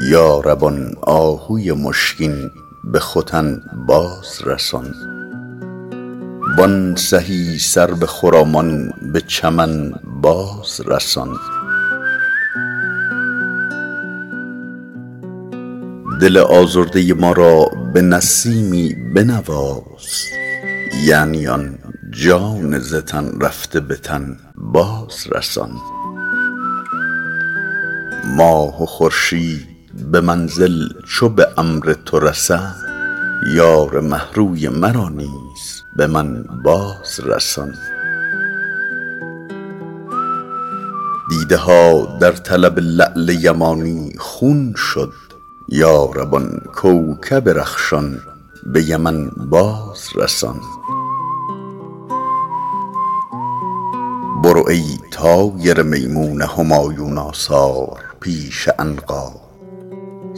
یا رب آن آهوی مشکین به ختن باز رسان وان سهی سرو خرامان به چمن باز رسان دل آزرده ما را به نسیمی بنواز یعنی آن جان ز تن رفته به تن باز رسان ماه و خورشید به منزل چو به امر تو رسند یار مه روی مرا نیز به من باز رسان دیده ها در طلب لعل یمانی خون شد یا رب آن کوکب رخشان به یمن باز رسان برو ای طایر میمون همایون آثار پیش عنقا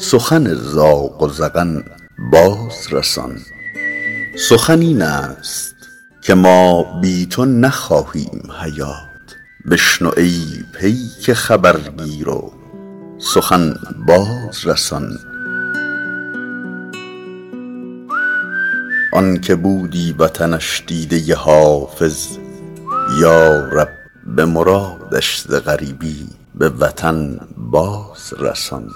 سخن زاغ و زغن باز رسان سخن این است که ما بی تو نخواهیم حیات بشنو ای پیک خبرگیر و سخن باز رسان آن که بودی وطنش دیده حافظ یا رب به مرادش ز غریبی به وطن باز رسان